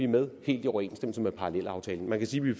med helt i overensstemmelse med parallelaftalen man kan sige at vi